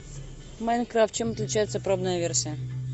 майнкрафт чем отличается пробная версия